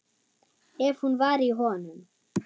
Ef hún var í honum.